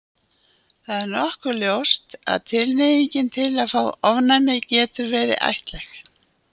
Það er nokkuð ljóst að tilhneigingin til að fá ofnæmi getur verið ættlæg.